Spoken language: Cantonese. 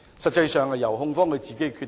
實際上應該由控方自行決定。